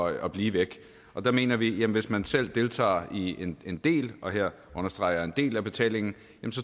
at blive væk og der mener vi at hvis man selv deltager i en del og her understreger jeg en del af betalingen